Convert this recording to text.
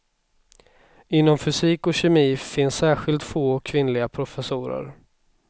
Inom fysik och kemi finns särskilt få kvinnliga professorer.